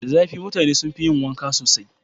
Da zafi mutane sun fi yi wanka sosai.